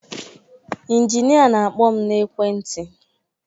Inginịa na-akpọ m n'ekwentị